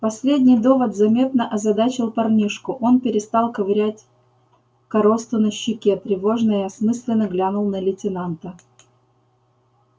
последний довод заметно озадачил парнишку он перестал ковырять коросту на щеке тревожно и осмысленно глянул на лейтенанта